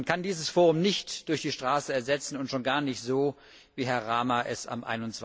Man kann dieses Forum nicht durch die Straße ersetzen und schon gar nicht so, wie Herr Rama es am